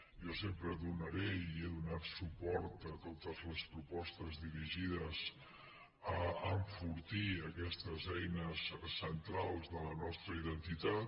jo sempre donaré i he donat suport a totes les propostes dirigides a enfortir aquestes eines centrals de la nostra identitat